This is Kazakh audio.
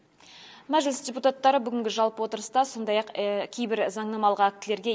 мәжіліс депутаттары бүгінгі жалпы отырыста сондай ақ кейбір заңнамалық актілерге